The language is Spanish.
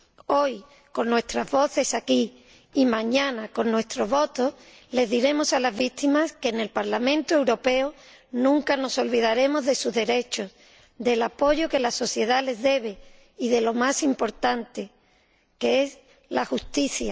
Hoy con nuestras voces aquí y mañana con nuestros votos, les diremos a las víctimas que en el Parlamento Europeo nunca nos olvidaremos de sus derechos, del apoyo que la sociedad les debe y de lo más importante, que es la justicia.